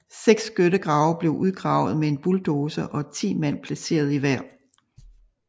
Seks skyttegrave blev udgravet med en bulldozer og 10 mand placeret i hver